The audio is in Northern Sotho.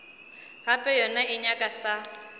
gape yona e nyaka sa